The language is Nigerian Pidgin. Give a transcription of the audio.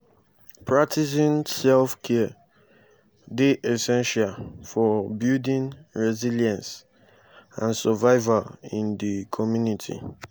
practicing self-care dey essential for building resilience and survival in di community.